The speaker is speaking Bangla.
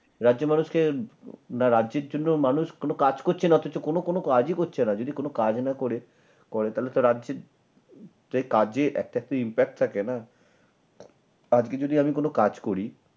রাজ্যের মানুষকে রাজ্যের জন্য মানুষ কোন কাজ করছে না অথচ কোন কোন কাজই করছে না যদি কোন কাজ না করে তাহলে তো রাজ্যের কাজে তো একটা তো impact থাকে না। আজকে যদি আমি কোন কাজ করি